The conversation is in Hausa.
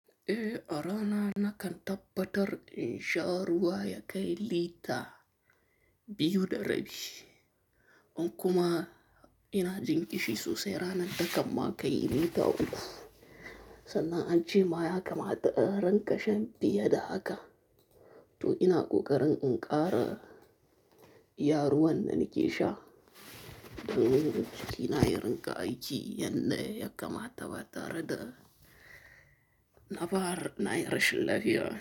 Eh, arana nakan tabbatar in sha ruwa ya kai lita biyu da rabi. In kuma ina jin kishi sosai ranan takan ma kai lita uku. Sannan ancema ya kama ta in rinka shan fiye da haka. To ina ƙoƙarin in ƙara iya ruwan da nake sha, domin jiki na ya rinƙa aiki yadda ya kamata ba tare da naɓar na yi rashin lafiya.